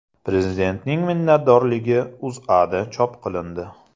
Prezidentning minnatdorligi O‘zAda chop qilindi .